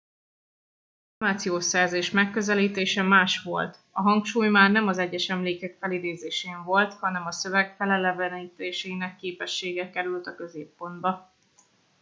az információszerzés megközelítése más volt a hangsúly már nem az egyes emlékek felidézésen volt hanem a szöveg felelevenítésének képessége került a középpontba